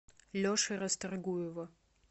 леши расторгуева